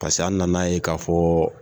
Paseke an na na ye ka fɔ